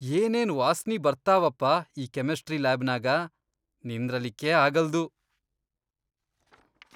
ಏನೇನ್ ವಾಸ್ನಿ ಬರ್ತಾವಪ್ಪಾ ಈ ಕೆಮಿಸ್ಟ್ರಿ ಲ್ಯಾಬನ್ಯಾಗ ನಿಂದ್ರಲಿಕ್ಕೇ ಆಗಲ್ದು.